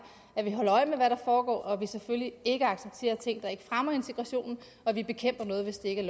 at vi holder øje med hvad der foregår og at vi selvfølgelig ikke accepterer ting der ikke fremmer integrationen og at vi bekæmper noget hvis det ikke